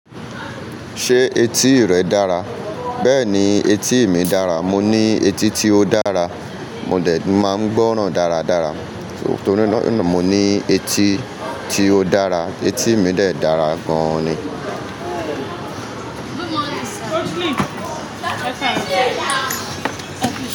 Ṣé etí rẹ dára? Bẹ́ẹ̀ni etí mi dára. Mo ní etí tí ó dára. Mo dẹ̀ máa ń gbọ́ràn dáradára torí mo ní etí tí ó dára. Etí mi de dàra gan ni.